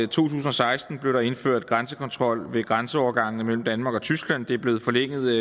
tusind og seksten blev der indført grænsekontrol ved grænseovergangene mellem danmark og tyskland det er blevet forlænget